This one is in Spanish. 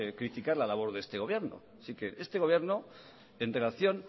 criticar la labor de este gobierno asique este gobierno en relación